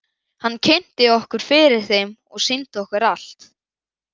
Hann kynnti okkur fyrir þeim og sýndi okkur allt.